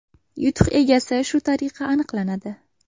Yutuq egasi shu tariqa aniqlanadi.